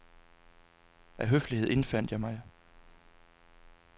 Af høflighed indfandt jeg mig.